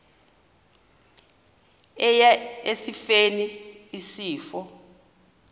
eya esifeni isifo